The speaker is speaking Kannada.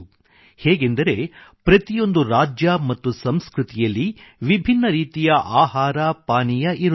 ಹೇಗೆಂದರೆ ಪ್ರತಿಯೊಂದು ರಾಜ್ಯ ಮತ್ತು ಸಂಸ್ಕೃತಿಯಲ್ಲಿ ವಿಭಿನ್ನ ರೀತಿಯ ಆಹಾರಪಾನೀಯ ಇರುತ್ತದೆ